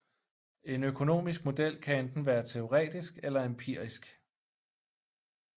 En økonomisk model kan enten være teoretisk eller empirisk